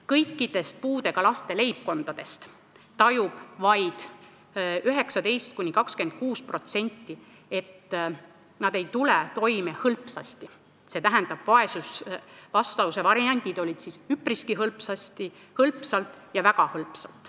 Kõikidest puudega laste leibkondadest tajub vaid 19–26%, et nad tulevad toime hõlpsalt .